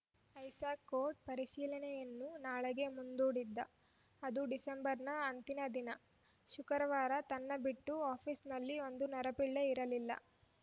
Isaac code ಪರಿಶೀಲನೆಯನ್ನು ನಾಳೆಗೆ ಮುಂದೂಡಿದ್ದ ಅದು ಡಿಸೆಂಬರ್‌ ನ ಅಂತಿಮ ದಿನ ಶುಕ್ರವಾರ ತನ್ನ ಬಿಟ್ಟು ಆಫೀಸಿನಲ್ಲಿ ಒಂದು ನರಪಿಳ್ಳೆ ಇರಲಿಲ್ಲ